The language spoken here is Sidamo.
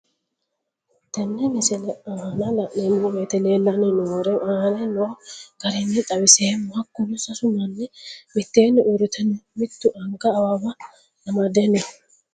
Tenne misile aana laeemmo woyte leelanni noo'ere aane noo garinni xawiseemmo. Hakunno sasu manni miteenni uurite no. Mittu anga awawa amade no.